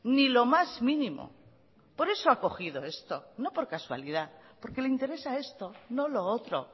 ni lo más mínimo por eso ha cogido esto no por casualidad porque le interesa esto no lo otro